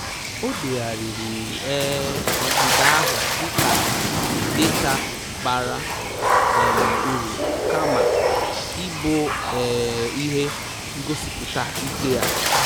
O degharịrị um ọdịda ahụ dịka data bara um uru kama ịbụ um ihe ngosipụta ike ya